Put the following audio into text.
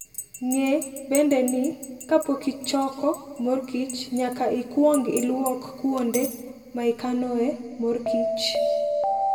Ng'e bende ni, kapok ichoko mor kich, nyaka ikwong ilok kuonde ma ikanoe mor kich.